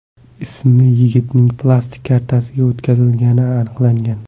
ismli yigitning plastik kartasiga o‘tkazilgani aniqlangan.